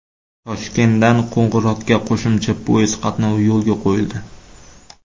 Toshkentdan Qo‘ng‘irotga qo‘shimcha poyezd qatnovi yo‘lga qo‘yildi.